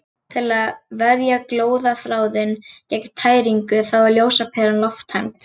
Til að verja glóðarþráðinn gegn tæringu þá er ljósaperan lofttæmd.